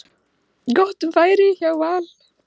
Gott færi hjá Val.